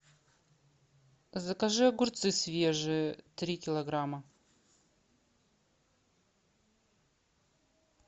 закажи огурцы свежие три килограмма